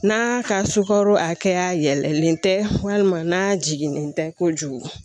N'a ka sukaro hakɛya yɛlɛlen tɛ walima n'a jiginnen tɛ kojugu